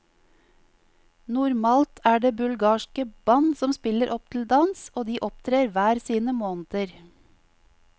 Normalt er det bulgarske band som spiller opp til dans, og de opptrer hver sine måneder.